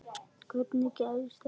Hvernig gerðist þetta?